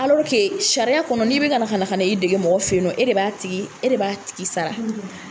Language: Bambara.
sariya kɔnɔ n'i bɛ ka ka na ka na i dege mɔgɔ fɛ ye nɔ e de b'a tigi e de b'a tigi sara.